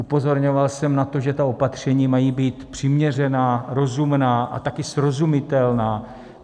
Upozorňoval jsem na to, že ta opatření mají být přiměřená, rozumná a taky srozumitelná.